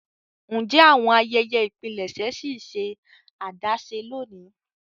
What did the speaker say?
Ǹjẹ́ awọn ayẹyẹ́ ipílẹṣẹ̀ ṣì nṣẹ adásẹ̀ lóńi?